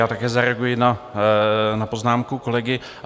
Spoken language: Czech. Já také zareaguji na poznámku kolegy.